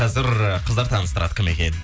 қазір қыздар таныстырады кім екенін